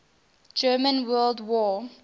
german world war